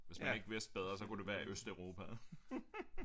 Hvis man ikke vidste bedre så kunne det være Østeuropa